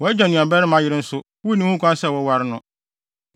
“ ‘Wʼagya nuabarima yere nso, wunni ho kwan sɛ woware no.